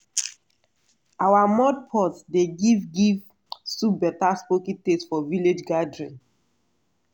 our mud pot dey give give soup better smoky taste for village gathering.